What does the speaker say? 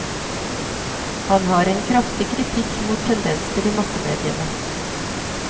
Han har en kraftig kritikk mot tendenser i massemediene.